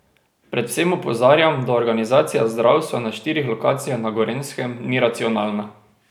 Predvsem opozarjam, da organizacija zdravstva na štirih lokacijah na Gorenjskem ni racionalna.